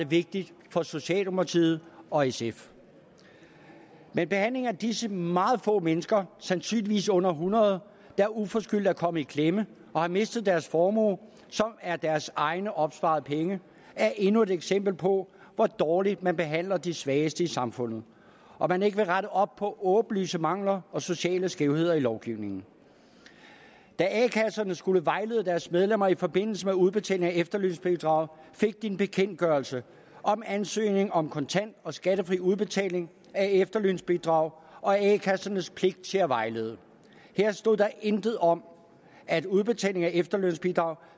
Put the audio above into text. vigtigt for socialdemokratiet og sf men behandlingen af disse meget få mennesker sandsynligvis under hundrede der uforskyldt er kommet i klemme og har mistet deres formue som er deres egne opsparede penge er endnu et eksempel på hvor dårligt man behandler de svageste i samfundet og at man ikke vil rette op på åbenlyse mangler og sociale skævheder i lovgivningen da a kasserne skulle vejlede deres medlemmer i forbindelse med udbetaling af efterlønsbidrag fik de en bekendtgørelse om ansøgning om kontant og skattefri udbetaling af efterlønsbidrag og a kassernes pligt til at vejlede her stod der intet om at udbetaling af efterlønsbidrag